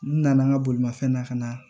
N nana n ka bolimafɛn na ka na